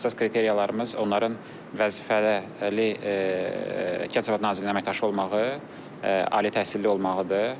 Əsas kriteriyalarımız onların vəzifəli Kənd təsərrüfatı nazirliyinin əməkdaşı olmağı, ali təhsilli olmağıdır.